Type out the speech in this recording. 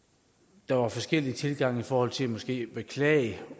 der var forskellige tilgange i forhold til måske at beklage